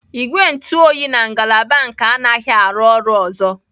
Igwe ntụ oyi na ngalaba nka anaghị arụ ọrụ ọzọ.